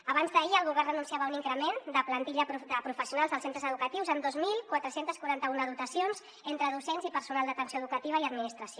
abans d’ahir el govern anunciava un increment de plantilla de professionals als centres educatius amb dos mil quatre cents i quaranta un dotacions entre docents i personal d’atenció educativa i administració